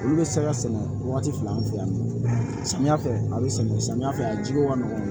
Olu bɛ se ka sɛnɛ wagati fila an fɛ yan nɔ samiya fɛ a bɛ sɛnɛ samiya fɛ a jiko ka nɔgɔn